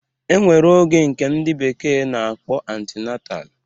E nwere oge nke ndị bekee na-akpọ antinantal